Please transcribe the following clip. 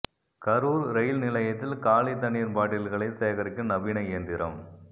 Karur rail நிலையத்தில் காலி தண்ணீா் பாட்டில்களை சேகரிக்கும் நவீன இயந்திரம்